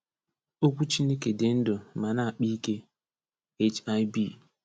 “Okwu Chineke dị ndụ ma na-akpa ike” — HIB.